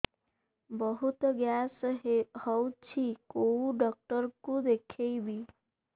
ବହୁତ ଗ୍ୟାସ ହଉଛି କୋଉ ଡକ୍ଟର କୁ ଦେଖେଇବି